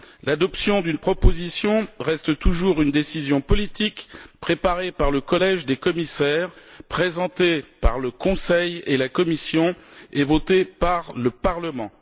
L'adoption d'une proposition reste toujours une décision politique préparée par le collège des commissaires, présentée par le Conseil et la Commission et votée par le Parlement.